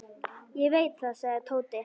Ég veit það, sagði Tóti.